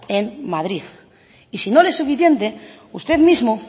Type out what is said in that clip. en madrid y si no le es suficiente usted mismo